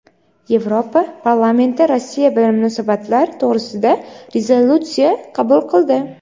Yevropa Parlamenti Rossiya bilan munosabatlar to‘g‘risida rezolyutsiya qabul qildi.